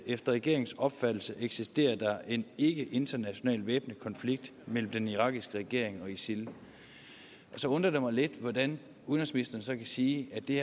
efter regeringens opfattelse eksisterer der en ikke international væbnet konflikt mellem den irakiske regering og isil så undrer det mig lidt hvordan udenrigsministeren kan sige at det